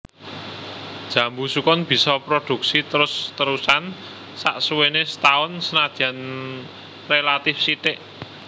Jambu sukun bisa prodhuksi terus terusan saksuwéné setaun senadyan rélatif sithik